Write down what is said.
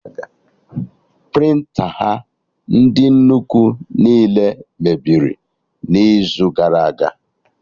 Prịnta ha ndị nnukwu niile mebiri n'izu gara aga